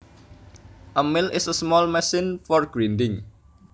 A mill is a small machine for grinding